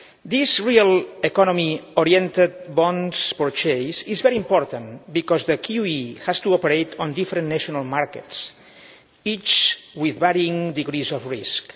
This real economy oriented bonds purchase is very important because the QE has to operate on different national markets, each with varying degrees of risk.